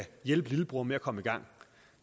hjælpe lillebror med at komme i gang